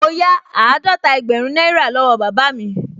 Mo yá àádọ́ta ẹgbẹ̀rún náírà lọ́wọ́ bàbá mi